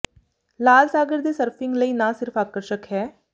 ਲਾਲ ਸਾਗਰ ਦੇ ਸਰਫ਼ਿੰਗ ਲਈ ਨਾ ਸਿਰਫ ਆਕਰਸ਼ਕ ਹੈ